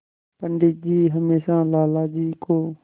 पंडित जी हमेशा लाला जी को